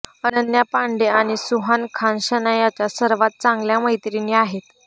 अनन्या पांडे आणि सुहाना खान शनायाच्या सर्वात चांगल्या मैत्रिणी आहेत